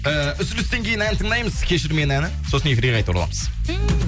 ііі үзілістен кейін ән тыңдаймыз кешір мені әні сосын эфирге қайта ораламыз ммм